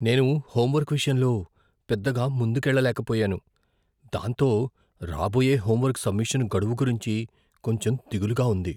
నేను హోంవర్క్ విషయంలో పెద్దగా ముందుకెళ్ళలేకపోయాను, దాంతో రాబోయే హోంవర్క్ సబ్మిషన్ గడువు గురించి కొంచెం దిగులుగా ఉంది.